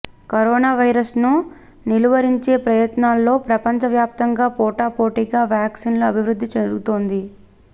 corona వైరస్ను నిలువరించే ప్రయత్నాల్లో ప్రపంచ వ్యాప్తంగా పోటాపోటీగా వ్యాక్సిన్ల అభివృద్ధి జరుగుతోంది